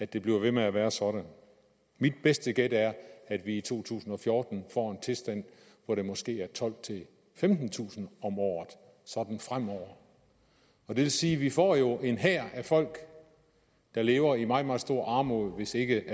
det bliver ved med at være sådan mit bedste gæt er at vi i to tusind og fjorten får en tilstand hvor det måske er tolvtusind femtentusind om året sådan fremover og det vil sige at vi får jo en hær af folk der lever i meget meget stor armod hvis ikke